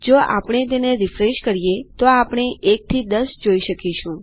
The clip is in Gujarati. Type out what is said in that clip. જો આપણે તેને રીફ્રેશ કરીએતો આપણે ૧ થી ૧૦ જોઈ શકીશું